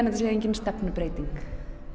þetta sé engin stefnubreyting